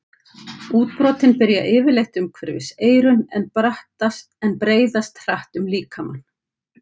Útbrotin byrja yfirleitt umhverfis eyrun en breiðast hratt um líkamann.